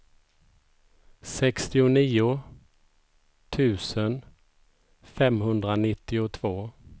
sextionio tusen femhundranittiotvå